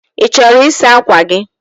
Ị chọrọ ịsa ákwà gị?